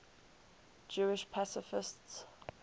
jewish pacifists